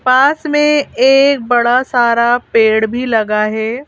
पास में एक बड़ा सारा पेड़ भी लगा है।